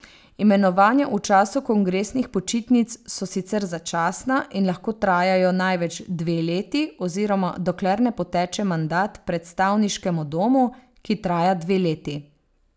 Imenovanja v času kongresnih počitnic so sicer začasna in lahko trajajo največ dve leti oziroma dokler ne poteče mandat predstavniškemu domu, ki traja dve leti.